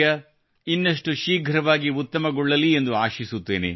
ತಮ್ಮ ಆರೋಗ್ಯ ಇನ್ನಷ್ಟು ಶೀಘ್ರವಾಗಿ ಉತ್ತಮಗೊಳ್ಳಲಿ ಎಂದು ನಾನು ಆಶಿಸುತ್ತೇನೆ